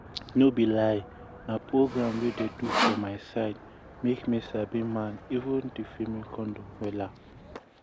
no be lie na program wey dem do for my side make me sabi man even di female condom wella.